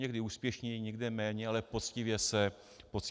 Někde úspěšněji, někde méně, ale poctivě se snaží.